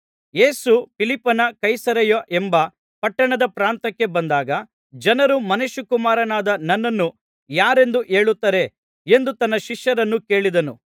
ಯೇಸು ಫಿಲಿಪ್ಪನ ಕೈಸರೈಯ ಎಂಬ ಪಟ್ಟಣದ ಪ್ರಾಂತ್ಯಕ್ಕೆ ಬಂದಾಗ ಜನರು ಮನುಷ್ಯಕುಮಾರನಾದ ನನ್ನನ್ನು ಯಾರೆಂದು ಹೇಳುತ್ತಾರೆ ಎಂದು ತನ್ನ ಶಿಷ್ಯರನ್ನು ಕೇಳಿದನು